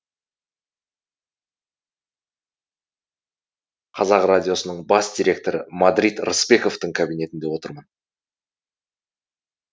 қазақ радиосының бас директоры мадрид рысбековтың кабинетінде отырмын